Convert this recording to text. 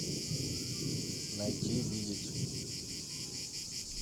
найти видеть